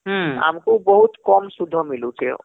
ହଁ ଆମକୁ ବହୁତ କମ ସୁଧ ମିଲୁଛେ